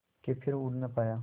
के फिर उड़ ना पाया